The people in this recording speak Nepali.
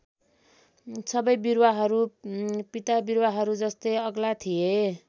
सबै बिरुवाहरू पिता बिरुवाहरू जस्तै अग्ला थिए।